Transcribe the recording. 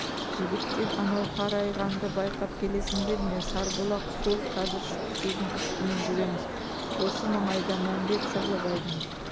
жігіттер анау қарайғанды байқап келесіңдер ме сарбұлақ сол қазір шүкісудің үстімен жүреміз осы маңайда мәмбет сырлыбайдың